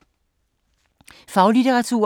Faglitteratur